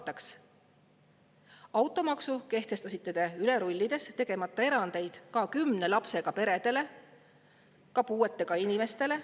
Automaksu kehtestasite te üle rullides, tegemata erandeid ka kümne lapsega peredele, ka puuetega inimestele.